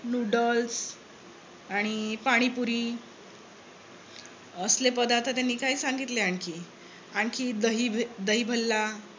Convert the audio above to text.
noodles आणि पाणीपुरी असले पदार्थ त्यांनी काही सांगितले आणखी. आणखी दही भल्ला